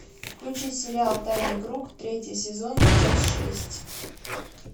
включи сериал тайный круг третий сезон часть шесть